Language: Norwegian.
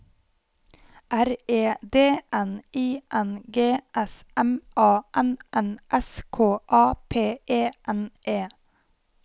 R E D N I N G S M A N N S K A P E N E